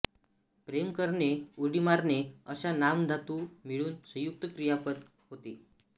प्रेम करणे उडी मारणे अशा नाम धातू मिळून संयुक्त क्रियापद होते